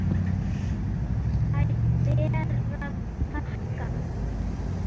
Þær ber að þakka.